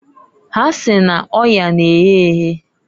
Ha si n'oyaa na-ehe ehe."